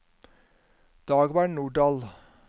Dagmar Nordahl